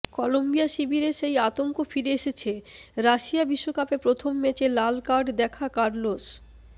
Colombia শিবিরে সেই আতঙ্ক ফিরে এসেছে রাশিয়া বিশ্বকাপে প্রথম ম্যাচে লাল কার্ড দেখা কার্লোস